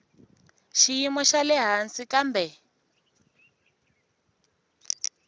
xiyimo xa le hansi kambe